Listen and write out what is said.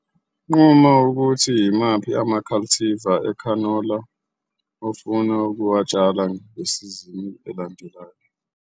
Nquma ukuthi yimaphi ama-cultivar ekhanola ufuna ukuwatshala ngesizini elandelayo